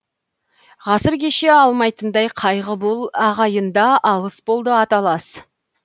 ғасыр кеше алмайтындай қайғы бұл ағайын да алыс болды аталас